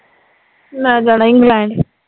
ਮੈਂ ਜਾਣਾ ਈ ਇੰਗਲੈਂਡ